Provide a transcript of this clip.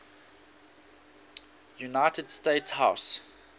united states house